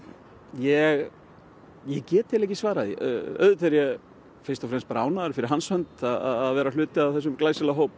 ég ég get ekki svarað því auðvitað er fyrst og fremst bara ánægður fyrir hans hönd að vera hluti af þessum glæsilega hóp